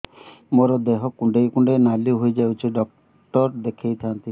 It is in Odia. ମୋର ଦେହ କୁଣ୍ଡେଇ କୁଣ୍ଡେଇ ନାଲି ହୋଇଯାଉଛି ଡକ୍ଟର ଦେଖାଇ ଥାଆନ୍ତି